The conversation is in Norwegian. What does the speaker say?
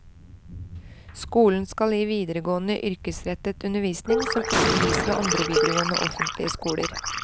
Skolen skal gi videregående yrkesrettet undervisning som ikke gis ved andre videregående offentlige skoler.